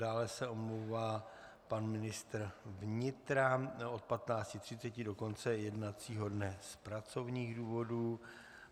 Dále se omlouvá pan ministr vnitra od 15.30 do konce jednacího dne z pracovních důvodů.